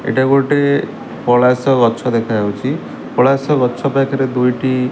ଏଇଟା ଗୋଟେ ପଳାସ ଗଛ ଦେଖାଯାଉଚି ପଳାସ ଗଛ ପାଖରେ ଦୁଇଟି--